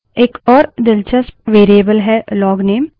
एक और दिलचस्प variable है लोगनेम